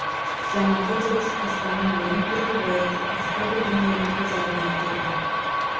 жаңағы дыбыс қоспанның ойын түртіп оятып басқа бір дүниені көз алдына әкелді